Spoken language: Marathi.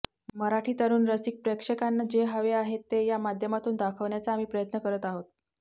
मराठी तरुण रसिक प्रेक्षकांना जे हवे आहे ते या माध्यमातून दाखवण्याचा आम्ही प्रयत्न करत आहोत